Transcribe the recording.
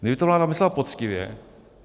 Kdyby to vláda myslela poctivě...